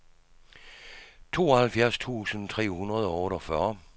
tooghalvfjerds tusind tre hundrede og otteogfyrre